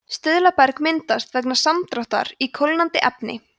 stuðlaberg myndast vegna samdráttar í kólnandi efni